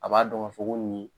A b'a dɔn ka fɔ ko nin